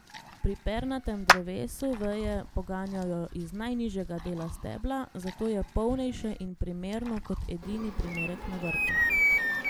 Pri pernatem drevesu veje poganjajo iz najnižjega dela stebla, zato je polnejše in primerno kot edini primerek na vrtu.